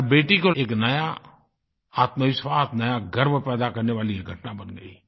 हर बेटी को एक नया आत्मविश्वास नया गर्व पैदा करने वाली ये घटना बन गयी